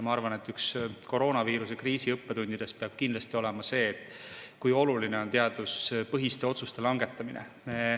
Ma arvan, et üks koroonaviiruse kriisi õppetundidest peab kindlasti olema see, kui oluline on teaduspõhiste otsuste langetamine.